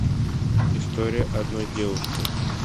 история одной девушки